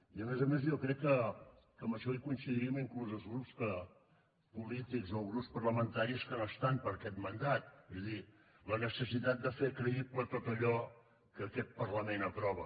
i a més a més jo crec que en això coincidim inclús els grups polítics o els grups parlamentaris que no estan per aquest mandat és a dir la necessitat de fer creïble tot allò que aquest parlament aprova